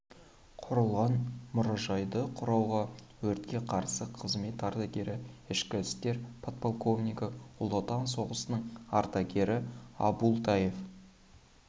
құрылған мұражайды құруға өртке қарсы қызмет ардагері ішкі қызмет подполковнигі ұлы отан соғысының ардагері абултаев